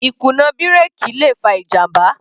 Ìkùnà bírèkì le fa ìjàmbá.